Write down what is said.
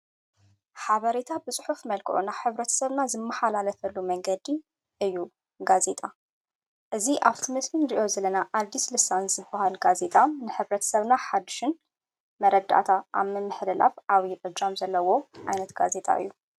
ሓበሬታ ብጽሑፍ መልክሮና ኅብረት ሰብና ዝመሃላለፈሉ መንገዲ እዩ ጋዜጣ እዝ ኣብቱ ምስምን ርእዮ ዝለና ዓልዲስ ልሳን ዝብሃል ጋዜጣ ንኅብረት ሰብና ሓድሽን መረዳእታ ኣምምኅደላፍ ዓዊ ዕጃም ዘለዎ ኣይነት ጋዜጣ እዩ።